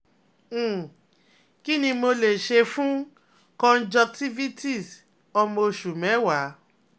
um Kí ni mo lè ṣe fún conjunctivitis ọmọ oṣù mẹ́wàá?